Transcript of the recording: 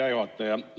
Hea juhataja!